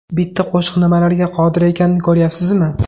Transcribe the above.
Bitta qo‘shiq nimalarga qodir ekanini ko‘ryapsizmi?